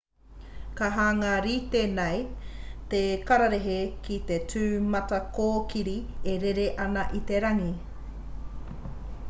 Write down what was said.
ka hanga rite nei te kaparehe ki te tūmatakōkiri e rere ana i te rangi